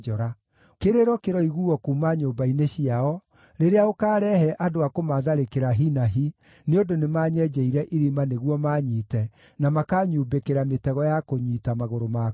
Kĩrĩro kĩroiguuo kuuma nyũmba-inĩ ciao rĩrĩa ũkaarehe andũ a kũmatharĩkĩra hi na hi, nĩ ũndũ nĩmanyenjeire irima nĩguo maanyite, na makanyumbĩkĩra mĩtego ya kũnyiita magũrũ makwa.